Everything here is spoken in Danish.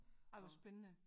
Ej hvor spændende